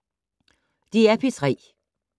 DR P3